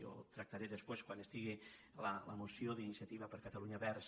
jo tractaré després quan estigui la moció d’iniciativa per catalunya verds